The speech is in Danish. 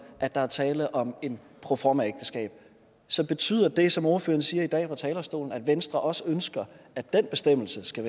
at der er tale om et proformaægteskab så betyder det som ordføreren siger i dag fra talerstolen at venstre også ønsker at den bestemmelse skal